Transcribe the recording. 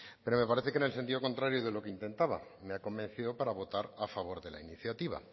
pero parece que en sentido contrario de lo que intentaba me ha convencido para votar a favor de la iniciativa